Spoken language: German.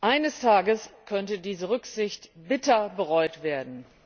Eines Tages könnte diese Rücksicht bitter bereut werden.